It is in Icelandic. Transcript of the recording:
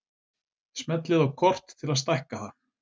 Smellið á kort til að stækka það.